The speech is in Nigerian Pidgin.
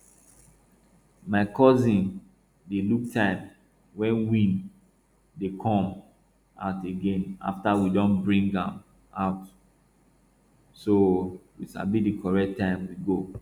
my cousin dey look time wen weed dey come out again afta we don bring am out so we sabi di correct time we go